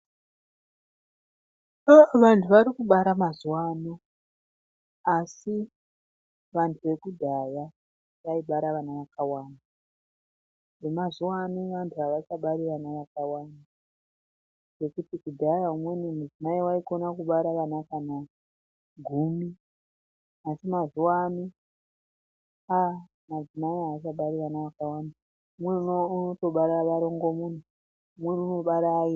Aah, vanthu vari kubara mazuwa ano, asi vanthu vekudhaya vaibara vana vakawanda. Vemazuwa ano vanthu avachabari vana vakawanda. Ngekuti kudhaya umweni mudzimai waikona kubara ana kana gumi. Asi mazuwa ano, aah madzimai aachabari vana vakawanda, umweni unotobara varongomuna, umweni unobara vairi.